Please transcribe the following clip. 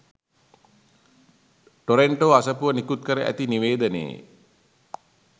Toronto අසපුව නිකුත්කර ඇති නිවේදනයේ